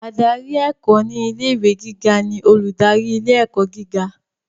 Adarí ẹ̀kọ́ ni ilé ìwé gíga ni olùdarí ilé ẹ̀kọ́ gíga.